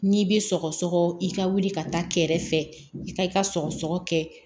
N'i bɛ sɔgɔsɔgɔ i ka wuli ka taa kɛrɛfɛ i ka i ka sɔgɔsɔgɔ kɛ